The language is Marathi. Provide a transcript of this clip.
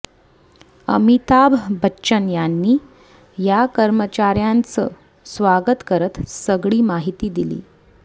अमिताभ बच्चन यांनी या कर्मचाऱ्यांच स्वागत करत सगळी माहिती दिली